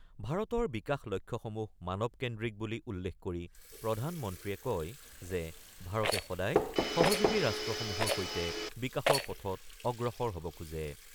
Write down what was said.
ভাৰতৰ বিকাশ লক্ষ্যসমূহ মানৱকেন্দ্ৰিক বুলি উল্লেখ কৰি প্ৰধান মন্ত্ৰীয়ে কয় যে ভাৰতে সদায় সহযোগী ৰাষ্ট্ৰসমূহৰ সৈতে বিকাশৰ পথত অগ্ৰসৰ হ'ব খোজে।